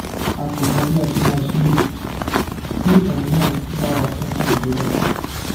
a kò mọ bí a ṣe máa ṣe o kí ẹyin náà bá wa kún fún àdúrà